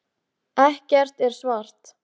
Fangelsisvist fyrir að syngja þjóðsönginn illa